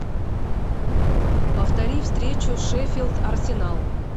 повтори встречу шеффилд арсенал